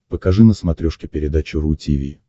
покажи на смотрешке передачу ру ти ви